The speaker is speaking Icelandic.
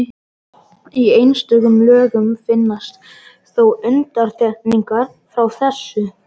Í einstökum lögum finnast þó undantekningar frá þessu.